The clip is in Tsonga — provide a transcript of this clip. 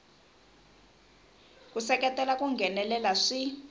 ku seketela ku nghenelela swi